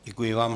Děkuji vám.